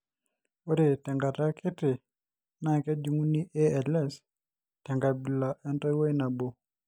ore te nkata kitii, naa kejung'uni ALS te nkabila entoiwoi nabo